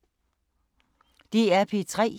DR P3